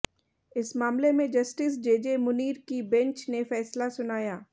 इस मामले में जस्टिस जेजे मुनीर की बेंच ने फैसला सुनाया